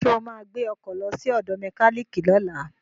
Ṣo ma gbé ọkọ̀ lọ sí ọ̀dọ̀ mẹkíníìkì lọ́la?